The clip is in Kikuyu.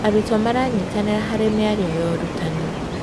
Arutwo maranyitanĩra harĩ mĩario ya ũrutani.